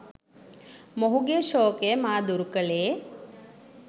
මොහුගේ ශෝකය මා දුරු කළේ